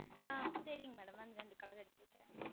சரிங்கள் Madam அந்த இரெண்டு Color உம் எடுத்து வைக்கிறேன்